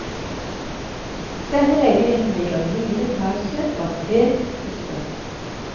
Denne leiligheten ligger i niende etasje, og er pent pusset opp.